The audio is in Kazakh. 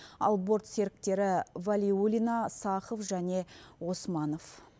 ал борт серіктері валиулина сахов және османов